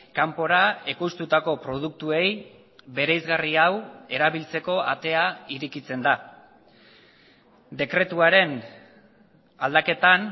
kanpora ekoiztutako produktuei bereizgarri hau erabiltzeko atea irekitzen da dekretuaren aldaketan